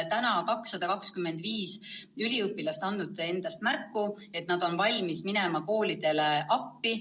Juba 225 üliõpilast on andnud endast märku, nad on valmis minema koolidele appi.